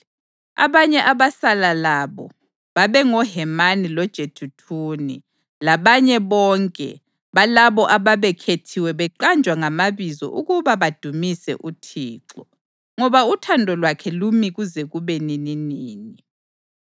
Abanye abasala labo babengoHemani loJeduthuni labanye bonke balabo ababekhethiwe beqanjwa ngamabizo ukuba badumise uThixo, “ngoba uthando lwakhe lumi kuze kube nininini.”